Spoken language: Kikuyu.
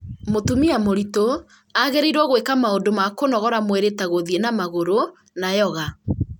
mũtumia mũritũ aagĩrĩirwo gwĩka maũndũ ma kũnogora mwĩrĩ ta gũthiĩ na magũrũ na yoga